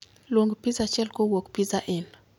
Luong piza achiel kowuok piza in